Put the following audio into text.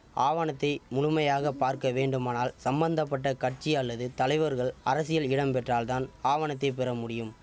ஆவணத்தை முழுமையாக பார்க்க வேண்டுமானால் சம்பந்த பட்ட கட்சி அல்லது தலைவர்கள் அரசியல் இடம் பெற்றால் தான் ஆவணத்தை பெற முடியும்